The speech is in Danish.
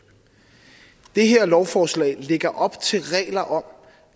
det her lovforslag lægger op til regler om